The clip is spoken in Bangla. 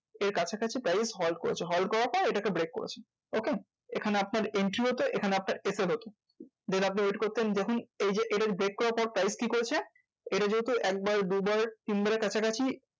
এর কাছাকাছি price halt করেছে halt করার পর এটাকে break করেছে। okay? এখানে আপনার entry হতো এখানে আপনার হতো then আপনি wait করতেন দেখুন এই যে এটাকে break করার পর price কি করেছে? এটা যেহেতু একবার দুবার তিনবার এর কাছাকাছি